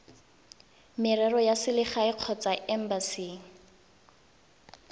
merero ya selegae kgotsa embasi